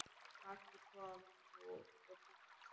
Maggi kom nú og kynnti.